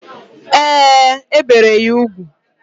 Ee, e bere ya ugwu.